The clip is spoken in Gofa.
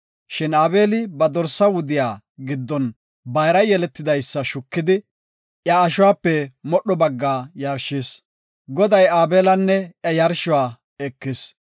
Shin Aabeli ba dorsa wudiya giddon bayra yeletidaysa shukidi iya ashuwape modho bagga yarshis. Goday Aabelanne iya yarshuwa ekis.